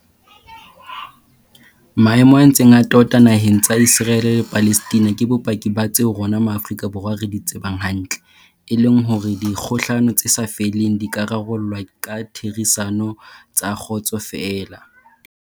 Maemo a ntseng a tota na heng tsa Iseraele le Palestina ke bopaki ba tseo rona Ma afrika Borwa re di tsebang hantle, e leng hore dikgohlano tse sa feleng di ka rarollwa ka ditherisano tsa kgotso feela.